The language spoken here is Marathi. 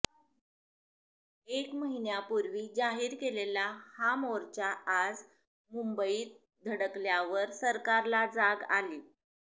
एक महिन्यापूर्वी जाहीर केलेला हा मोर्चा आज मुंबईत धडकल्यावर सरकारला जाग आली